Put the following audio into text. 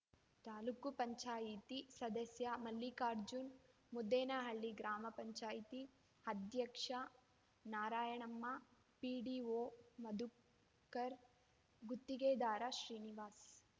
ತಾಲೂಕ್ ಪಂಚಾಯಿತಿ ಸದಸ್ಯ ಮಲ್ಲಿಕಾರ್ಜುನ್ ಮುದ್ದೇನಹಳ್ಳಿ ಗ್ರಾಮ ಪಂಚಾಯಿತಿ ಅಧ್ಯಕ್ಷೆ ನಾರಾಯಣಮ್ಮ ಪಿಡಿಓ ಮಧುಕರ್ ಗುತ್ತಿಗೆದಾರ ಶ್ರೀನಿವಾಸ್